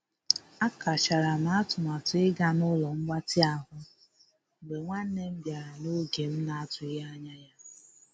A kachara m atụmatụ ịga n'ụlo mgbatị ahụ mgbe nwanne m bịara n'oge m na- atụghị anya ya.